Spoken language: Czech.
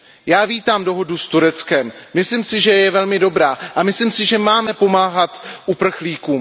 Já vítám dohodu s Tureckem, myslím si, že je velmi dobrá, a myslím si, že máme pomáhat uprchlíkům.